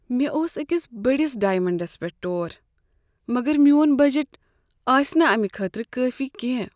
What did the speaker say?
مےٚ اوس أکس بٔڑس ڈایمنٛڈس پیٹھ ٹور، مگر میٚون بجٹ آسہ نہٕ امہ خٲطرٕ کٲفی کینٛہہ۔